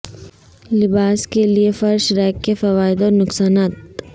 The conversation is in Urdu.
لباس کے لئے فرش ریک کے فوائد اور نقصانات